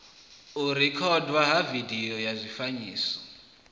u rekhodwa ha vidio zwifanyiso